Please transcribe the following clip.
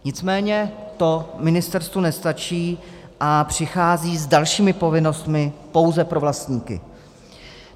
Nicméně to ministerstvu nestačí a přichází s dalšími povinnostmi pouze pro vlastníky.